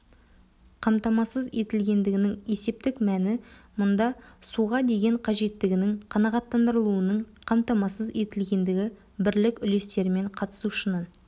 қамтамасыз етілгендігінің есептік мәні мұнда суға деген қажеттігінің қанағаттандырылуының қамтамасыз етілгендігі бірлік үлестерімен қатысушының